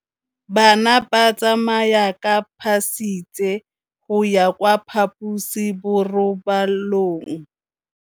Bana ba tsamaya ka phašitshe go ya kwa phaposiborobalong.